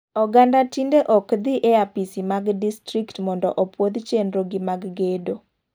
Oganda tinde ok dhi e apisismag distrikt mondo opuoth chenro gi mag gedo.